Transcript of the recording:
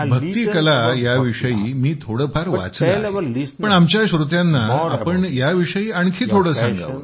भक्ती कला या विषयी मी थोडंफार वाचलं आहे पण आमच्या श्रोत्यांना तुम्ही याविषयी आणखी थोडं सांगावं